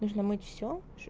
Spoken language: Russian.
нужно мыть все